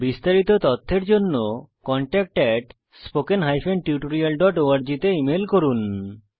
বিস্তারিত তথ্যের জন্য contactspoken tutorialorg তে ইমেল করুন